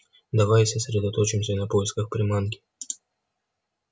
давай сосредоточимся на поисках приманки